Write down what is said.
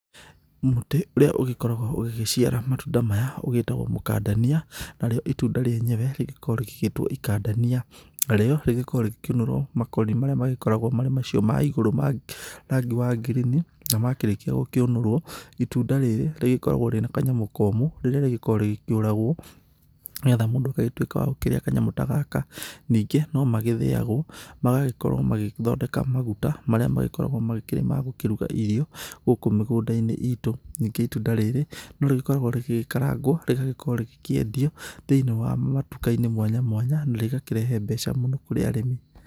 Mũtĩ ũrĩa ũgĩkoragwo ũgĩgĩciara matunda maya ũgĩtagwo mũkandania, narĩo itunda rĩenyewe, rĩgĩkoragwo rĩgĩtwo ikandania. Narĩo, rĩgĩkoragwo rĩgĩkĩũnũrwo makoni marĩa makoragwo marĩ macio ma igũrũ ma rangi wa ngirini na makĩrĩkia gũkĩũnũrwo itunda rĩrĩ rĩgĩkoragwo rĩ na kanyamũ komũ, rĩrĩa rĩgĩkoragwo rĩgĩkĩũragwo, nĩgetha mũndũ agagĩtuĩka wa gũkĩrĩa kanyamũ ta gaka. Ningĩ nomagĩthĩagwo magagĩkorwo magĩthondeka maguta marĩa magĩkoragwo magĩkĩrĩ ma gũkĩruga irio gũkũ mĩgũnda-inĩ itũ. Ningĩ itunda rĩrĩ, norĩgĩkoragwo rĩgĩkarangwo, rĩgagĩkorwo rĩgĩkĩendio thĩiniĩ wa matuka mwanya mwanya, na rĩgakĩrehe mbeca mũno kũrĩ arĩmi.